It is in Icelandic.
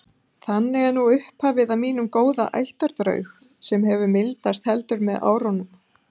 Þannig er nú upphafið að mínum góða ættardraug sem hefur mildast heldur með árunum.